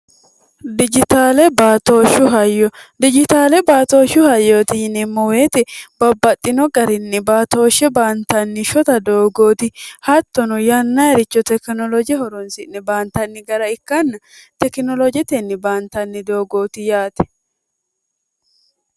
dijitaale baatooshshu hayyo dijitaale baatooshshu hayyooti yinimmoweexi babbaxxino garinni baatooshshe baantanni shota doogooti hattono yanna haricho tekinoloje horonsi'ne baantanni gara ikkanna tekinoloojetenni baantanni doogooti yaate